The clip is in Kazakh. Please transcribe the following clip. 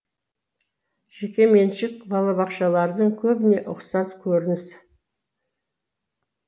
жекеменшік балабақшалардың көбіне ұқсас көрініс